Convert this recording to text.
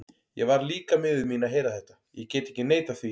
Ég varð líka miður mín að heyra þetta, ég get ekki neitað því.